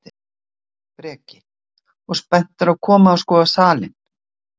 Breki: Og spenntur að koma og skoða salinn?